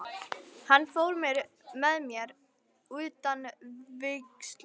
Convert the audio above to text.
Hann fór með mér utan til vígslu.